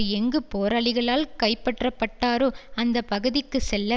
எங்கு போரளிகளால் கைப்பற்றப்பட்டாரோ அந்த பகுதிக்கு செல்ல